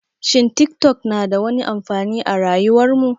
Shin tik tok na da wani amfani a rayuwar mu?